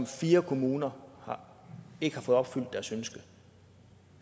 fire kommuner ikke har fået opfyldt deres ønske